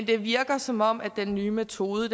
det virker som om den nye metode